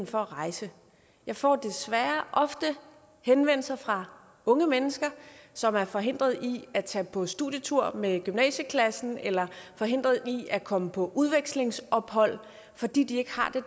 for at rejse jeg får desværre ofte henvendelser fra unge mennesker som er forhindret i at tage på studietur med gymnasieklassen eller forhindret i at komme på udvekslingsophold fordi de ikke har